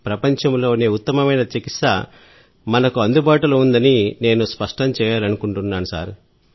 ప్రపంచంలోనే ఉత్తమమైన చికిత్స మనకు అందుబాటులో ఉందని నేను స్పష్టం చేయాలనుకుంటున్నాను సార్